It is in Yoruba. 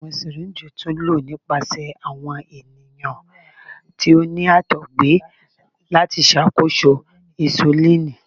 Awọn syringes tun lo nipasẹ awọn eniyan ti o ni àtọgbẹ lati ṣakoso insulini.